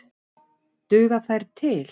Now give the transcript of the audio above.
Duga þær til?